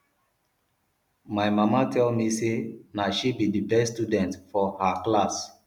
my mama tell me say na she be the best student for her set